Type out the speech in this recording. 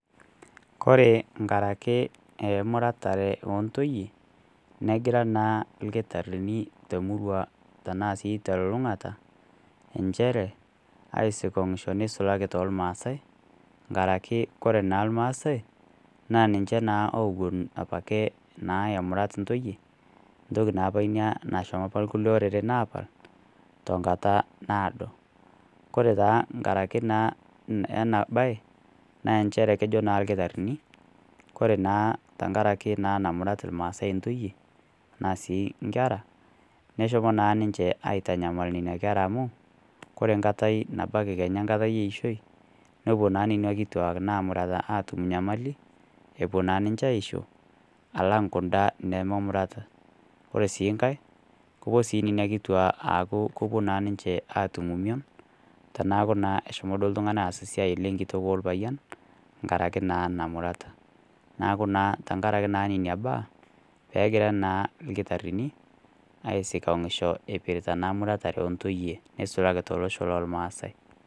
Kore enkaraki emuratare o ntoiye, negira naa lkitarini temurua tanaa sii telulung'ata nchere aisikong'isho, neisulaki too lmaasai nkaraki kore naa lmaasai naa ninche naa opuo apa ake naa emurat intoiye, ntoki naa Ina nashomo opa lkulie oreren apal, tonkata naado. Kore taa nkaraki naa ena baaye, naa nchere kejo naa ilkitarini Kore naa tenkaraki namurat ilmaasai intoiye, anaa sii inkera, neshomo naa si ninche aitanyamal nena kera amu, Kore nkatai nabaiki kenya amu enkatai e ishoi nepuo naa nena kituak naamurata atum nyamali epuo naa ninche aisho, alang' kunda nememurata. Ore sii enkai, kepuo sii nena kituaa aaku kepuo naa ninche aatum emion, teneaku naa eshomo duo oltung'ani aas esiai enkitok olpayian, enkaraki naa namurata. Neaku tenkaraki naa nena baa pee egirai naa ilkitarini aisikong'isho eipirta naa emuratare o ntoiye neisulaki tolosho loolmaasai.